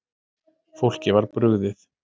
Fólki var brugðið